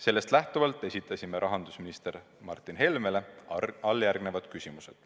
Sellest lähtuvalt esitasime rahandusminister Martin Helmele järgmised küsimused.